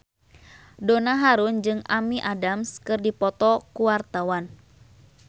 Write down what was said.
Donna Harun jeung Amy Adams keur dipoto ku wartawan